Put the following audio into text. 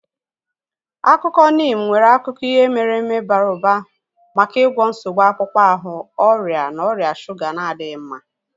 Akwụkwọ Neem nwere akụkọ ihe mere eme bara ụba maka ịgwọ nsogbu akpụkpọ ahụ, ọrịa na ọrịa shuga na-adịghị mma.